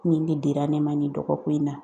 Ni de dira ne ma nin dɔgɔkun in na.